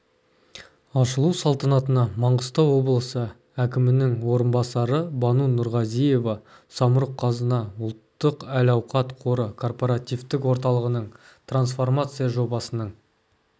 ашылу салтанатына маңғыстау облысы әкімінің орынбасары бану нұрғазиева самұрық-қазына ұлттық әл-ауқат қоры корпоративтік орталығының трансформация жобасының